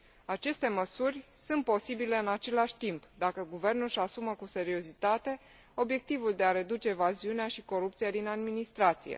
Aceste măsuri sunt posibile în același timp, dacă guvernul își asumă cu seriozitate obiectivul de a reduce evaziunea și corupția din administrație.